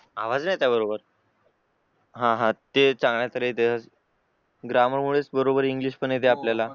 आवाज नाही येत आहे बरोबर हा हा ते ग्रामर मुळे बरोबर इंग्लिश पण येते आपल्याला